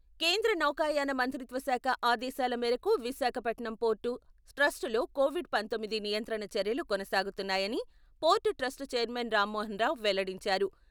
కేంద్ర నౌకాయాన మంత్రిత్వ శాఖ ఆదేశాల మేరకు విశాఖపట్నం పోర్టు ట్రస్టులో కోవిడ్ పంతొమ్మిది నియంత్రణ చర్యలు కొనసాగుతున్నాయని port trust chairman Rammohan Rao వెల్లడించారు.